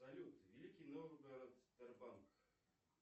салют великий новгород сбербанк